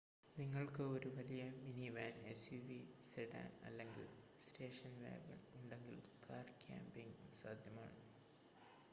നിങ്ങൾക്ക് ഒരു വലിയ മിനിവാൻ എസ്‌യുവി സെഡാൻ അല്ലെങ്കിൽ സ്റ്റേഷൻ വാഗൺ ഉണ്ടെങ്കിൽ കാർ ക്യാമ്പിംഗ് സാധ്യമാണ്